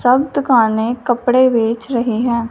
सब दुकानें कपड़े बेच रहे हैं।